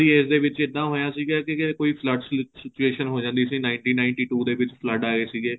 ਉਹਨਾ ਦੀ age ਦੇ ਵਿੱਚ ਇੱਦਾਂ ਹੋਇਆ ਸੀ ਵੀ ਕਿੱਥੇ ਕੋਈ flood ਫ੍ਲੂਡ situation ਹੋ ਜਾਂਦੀ ਸੀ ninety ninety two ਦੇ ਵਿੱਚ flood ਆਏ ਸੀਗੇ